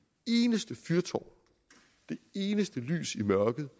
eneste fyrtårn det eneste lys i mørket